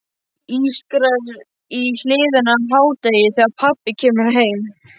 Ískrar í hliðinu á hádegi þegar pabbi kemur heim.